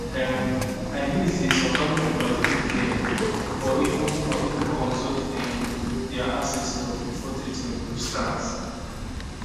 um i mean say some family members do prayer or even or even consult um dia ancestors before treatment go start